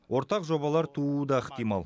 ортақ жобалар тууы да ықтимал